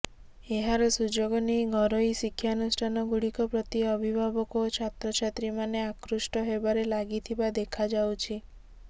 ଏହାର ସୁଯୋଗ ନେଇ ଘରୋଇ ଶିକ୍ଷାନୁଷ୍ଠାନ ଗୁଡିକ ପ୍ରତି ଅଭିଭାବକ ଓ ଛାତ୍ରଛାତ୍ରୀମାନେ ଆକୃଷ୍ଟ ହେବାରେ ଲାଗିଥିବା ଦେଖାଯାଉଛି